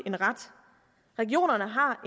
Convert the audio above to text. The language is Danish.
en ret regionerne har